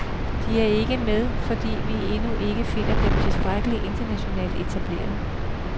De er ikke med, fordi vi endnu ikke finder dem tilstrækkelig internationalt etablerede.